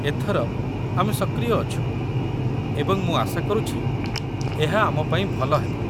ଏଥର, ଆମେ ସକ୍ରିୟ ଅଛୁ ଏବଂ ମୁଁ ଆଶା କରୁଛି ଏହା ଆମ ପାଇଁ ଭଲ ହେବ।